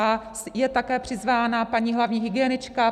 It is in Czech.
A je také přizvána paní hlavní hygienička.